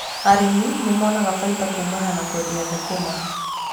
Arĩmi nimonaga baita kuumana na kũendia thũkũma.